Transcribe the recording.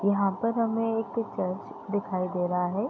यहां पर हमें एक र्चच दिखाई दे रहा है।